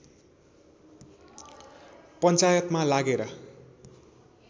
पञ्चायतमा लागेर